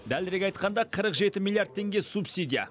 дәлірек айтқанда қырық жеті миллиард теңге субсидия